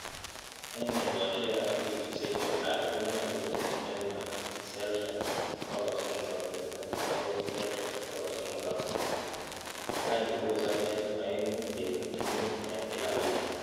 En ekosiek ab wikisiek che tai konyolu komiten maat 320c bokoi 350 c,ak any kobosok en oengu kenuch mut en kila wikit.